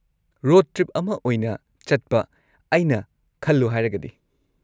Road trip ꯑꯃ ꯑꯣꯏꯅ ꯆꯠꯄ, ꯑꯩꯅ ꯈꯜꯂꯨ ꯍꯥꯏꯔꯒꯗꯤ꯫